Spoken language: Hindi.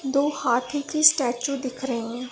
दो हाथी की स्टेचू दिख रहीं हैं।